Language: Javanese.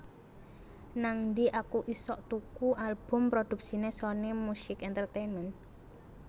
Nangdi aku isok tuku album produksine Sony Music Entertainment?